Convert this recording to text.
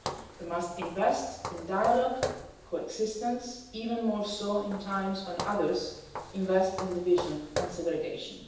We must invest in dialogue and coexistence, even more so in times when others invest in division and segregation.